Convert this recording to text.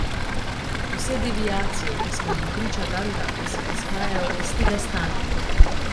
Vse deviacije, ki smo jim priča dandanes, izhajajo iz tega stanja.